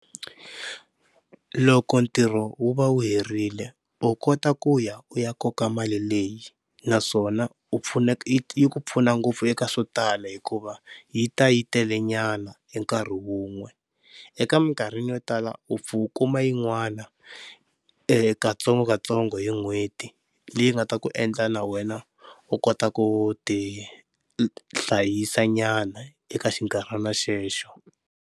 Loko ntirho wu va wu herile u kota ku ya u ya koka mali leyi naswona u pfuna yi ku pfuna ngopfu eka swo tala hikuva yi ta yi tele nyana hi nkarhi wun'we. Eka mikarhini yo tala u pfa u kuma yin'wana katsongokatsongo hi n'hweti leyi nga ta ku endla na wena u kota ku tihlayisa nyana eka xinkarhana xexo.